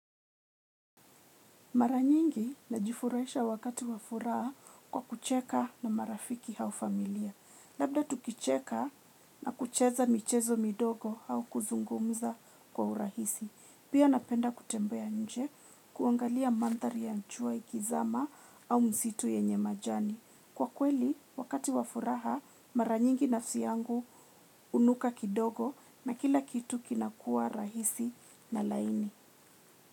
Maranyingi na jifurahisha wakati wafuraha kwa kucheka na marafiki aufamilia. Labda tukicheka na kucheza michezo midogo au kuzungumza kwa urahisi. Pia napenda kutembea nje kuangalia mandhari ya jua ikizama au misitu yenye majani. Kwa kweli, wakati wafuraha, maranyingi nafsi yangu hunuka kidogo na kila kitu kinakua rahisi na laini.